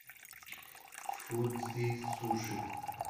фудзи суши